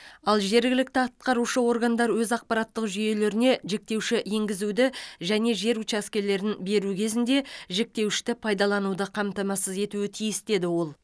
ал жергілікті атқарушы органдар өз ақпараттық жүйелеріне жіктеуші енгізуді және жер учаскелерін беру кезінде жіктеуішті пайдалануды қамтамасыз етуі тиіс деді ол